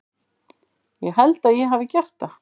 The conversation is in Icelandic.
Ég held að ég hafi gert það.